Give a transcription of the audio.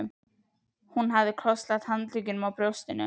Hún hafði krosslagt handleggina á brjóstinu.